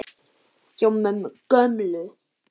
Hjá mömmu gömlu?!